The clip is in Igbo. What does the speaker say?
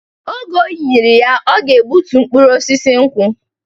Oge o nyiri ya, ọ ga-egbutu mkpụrụ osisi nkwụ